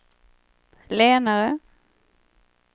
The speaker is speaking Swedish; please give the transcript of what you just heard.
lenare